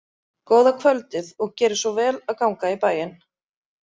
Góða kvöldið, og gerið svo vel að ganga í bæinn!